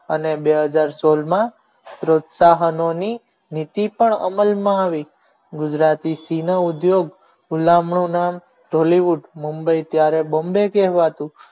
અને બે હજાર સોળ માં પ્રોત્સાહનોની નીતિ પણ અમલમાં આવી ગુજરાતી સીન ઉદ્યોગ ગુલામ નું નામ tollywoodmumbai ત્યારે bomby કહેવાતું